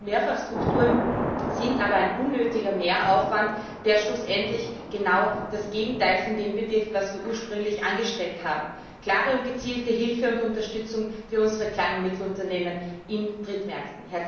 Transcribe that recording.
Mehrfachstrukturen sind aber ein unnötiger Mehraufwand, der schlussendlich genau das Gegenteil dessen bewirkt, was wir ursprünglich angestrebt haben klare und gezielte Hilfe und Unterstützung für unsere Klein und Mittelunternehmen in Drittmärkten!